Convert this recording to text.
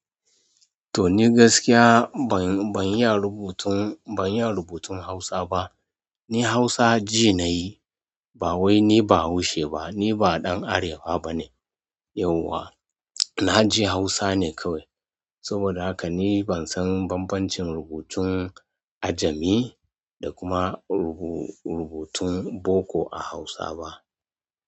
To ni gaskiya ban, ban iya rubutun, ban iya rubutun Hausa ba. Ni Hausa ji na yi, ba wai ni bahaushe ba, ni ba ɗan Arewa bane yauwa. Na ji Hausa ne kawai. Saboda haka ni ban san banbancin rubutun ajami, da rubutun boko a hausa ba.